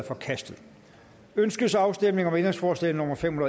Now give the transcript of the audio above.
forkastet ønskes afstemning om ændringsforslag nummer fem